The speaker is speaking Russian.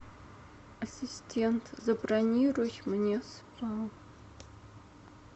ассистент забронируй мне спа